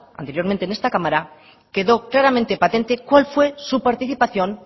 anteriormente en esta cámara quedó claramente patente cuál fue su participación